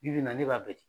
Bi bi in na ne b'a bɛɛ ci